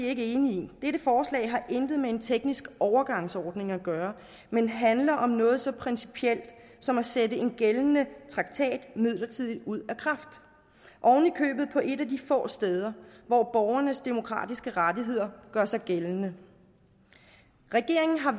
ikke enige i dette forslag har intet med en teknisk overgangsordning at gøre men handler om noget så principielt som at sætte en gældende traktat midlertidigt ud af på et af de få steder hvor borgernes demokratiske rettigheder gør sig gældende regeringen har